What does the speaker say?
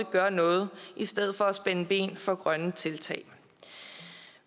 gør noget i stedet for at spænde ben for grønne tiltag